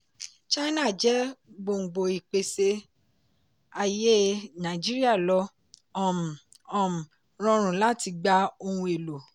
china jẹ́ gbòngbò ìpèsè ayé nàìjíríà lo um um rọrùn láti gba ohun èlò.